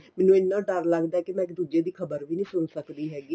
ਮੈਨੂੰ ਤਾਂ ਡਰ ਲੱਗਦਾ ਵੀ ਮੈਂ ਇੱਕ ਦੂਜੇ ਦੀ ਖਬਰ ਵੀ ਨੀਂ ਸੁਣ ਸਕਦੀ ਹੈਗੀ